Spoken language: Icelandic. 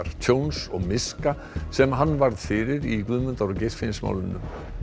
tjóns og miska sem hann varð fyrir í Guðmundar og Geirfinnsmálinu